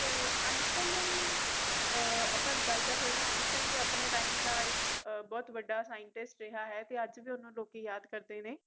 ਤੇ Einstine ਦਾ ਵੀ ਅਪਾ ਗੱਲ ਕਰ ਸਕਦੇ ਆ Einstine ਵੀ ਆਪਣੇ time ਦਾ ਬਹੁਤ ਵਡਾ scientist ਰਿਹਾ ਹੈ ਤੇ ਅੱਜ ਵੀ ਓਹਨੂੰ ਲੋਕੀ ਯਾਦ ਕਰਦੇ ਨੇ